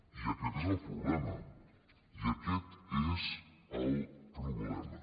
i aquest és el problema i aquest és el problema